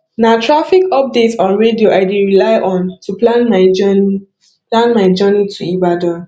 na traffic updates on radio i dey rely on to plan my journey plan my journey to ibadan